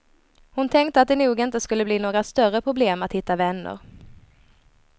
Hon tänkte att det nog inte skulle bli några större problem att hitta vänner.